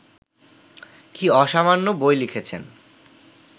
কী অসামান্য বই লিখেছেন